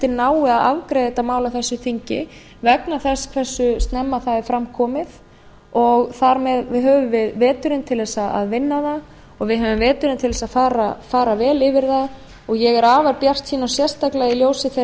nái að afgreiða þetta mál á þessu þingi vegna þess hversu snemma það er fram komið og þar með höfum við veturinn til þess að vinna það og við höfum veturinn til þess að fara vel yfir það ég er afar bjartsýn og sérstaklega í ljósi þeirrar